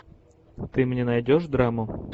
ты мне найдешь драму